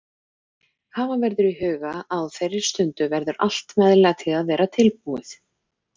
Hafa verður í huga að á þeirri stundu verður allt meðlæti að vera tilbúið.